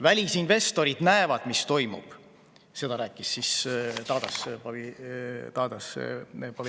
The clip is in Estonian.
"Välisinvestorid näevad, mis toimub [Seda rääkis Tadas Povilauskas.